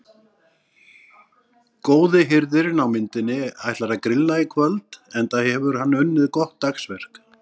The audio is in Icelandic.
Góði hirðirinn á myndinni ætlar að grilla í kvöld enda hefur hann unnið gott dagsverk.